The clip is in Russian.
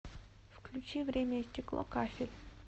включи время и стекло кафель